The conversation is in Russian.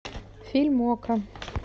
фильм окко